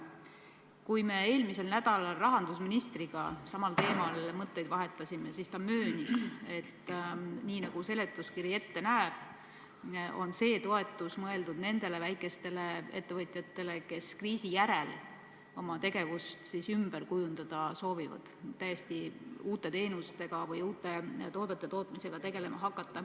Kui me eelmisel nädalal rahandusministriga samal teemal mõtteid vahetasime, siis ta möönis, et nii nagu seletuskiri ette näeb, on see toetus mõeldud nendele väikestele ettevõtjatele, kes soovivad kriisi järel oma tegevust ümber kujundada, et hakata tegelema täiesti uute teenuste pakkumise või uute toodete tootmisega.